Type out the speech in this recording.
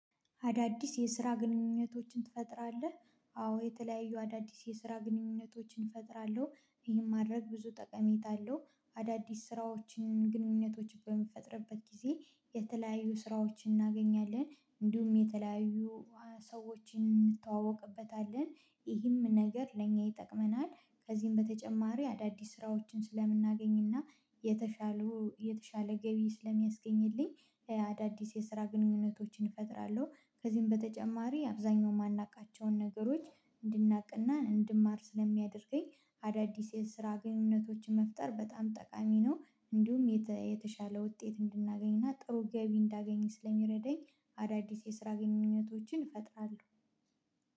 አዳዲስ የስራ ግንኙነቶችን ትፈጥራለህ? አዎ የተለያዩ አዳዲስ የስራ ግንኙነቶችን እፈጥራለሁ ይህን ማድረግ ብዙ ጠቀሜታ አለው አዳዲስ ስራዎችን ግንኙነቶችን በምንፈጥርበት ጊዜ የተለያዩ ስራዎችን እናገኛለን እንዲሁም የተለያዩ ሰዎችን እንተዋወቅበታለን ይህም ነገር ለእኛ ይጠቅመናል ከዚህም በተጨማሪ አዳዲስ ስራዎችን ስለምናገኝና የተሻለ ገቢ ስለሚያስገኝልኝ አዳዲስ የስራ ግንኙነቶችን እፈጥራለሁ ከዚህም በተጨማሪ አብዛኛው የማናውቃቸውን ነገሮች እንድናቅና እንድማር ስለሚያደርገኝ አዳዲስ የስራ ግንኙነቶችን መፍጠር በጣም ጠቃሚ ነው እንዲሁም የተሻለ ውጤት እንድናገኝና ጥሩ ገቢ እንዳገኘ ስለሚረደኝ አዳዲስ የስራ ግንኝነቶችን እፈጥራለሁ